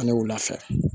Ani wula fɛ